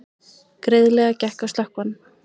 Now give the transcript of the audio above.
Greiðlega gekk að slökkva hann